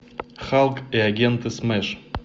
халк и агенты смэш